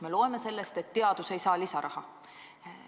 Me loeme sellest, et teadus ei saa lisaraha.